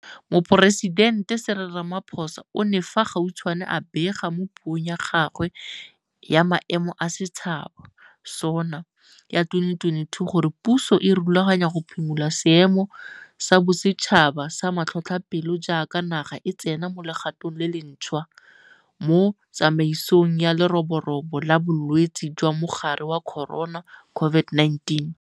Moporesidente Cyril Ramaphosa o ne fa gautshwane a bega mo Puong ya gagwe ya Maemo a Setšhaba SoNA ya 2022 gore puso e rulaganya go phimola Seemo sa Bosetšhaba sa Matlhotlhapelo jaaka naga e tsena mo legatong le lentšhwa mo tsamaisong ya leroborobo la bolwetse jwa mogare wa Corona COVID-19.